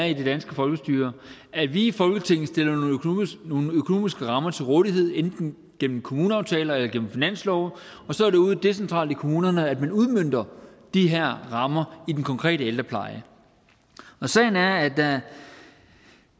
i det danske folkestyre at vi i folketinget stiller nogle økonomiske rammer til rådighed enten gennem kommuneaftaler eller gennem finanslove og så er det ude decentralt i kommunerne at man udmønter de her rammer i den konkrete ældrepleje sagen er at da